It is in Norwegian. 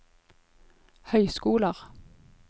høyskoler